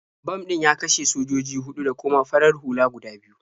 Bam ɗin ya kashe sojoji huɗu da kuma farar hula guda biyu.